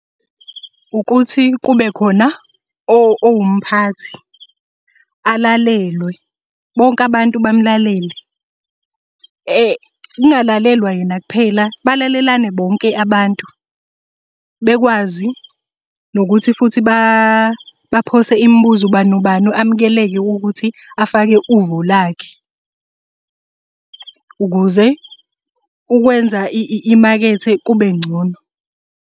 Ukuthi kube khona owumphathi, alalelwe, bonke abantu bamulalele, kungalalelwa yena kuphela, balalelane bonke abantu. Bekwazi nokuthi futhi baphose imibuzo ubani nobani amukeleke ukuthi afake uvo lakhe, ukuze ukwenza imakethe kube ngcono.